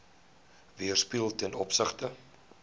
weerspieël ten opsigte